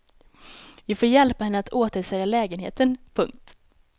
Vi får hjälpa henne att återsälja lägenheten. punkt